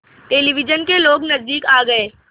television के लोग नज़दीक आ गए